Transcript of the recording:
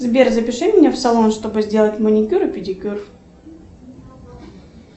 сбер запиши меня в салон чтобы сделать маникюр и педикюр